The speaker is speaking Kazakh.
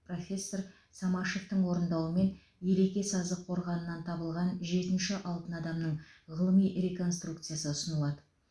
профессор самашевтың орындауымен елеке сазы қорғанынан табылған жетінші алтын адамның ғылыми реконструкциясы ұсынылады